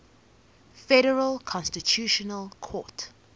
federal constitutional court